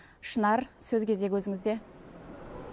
шынар сөз кезегі өзінізде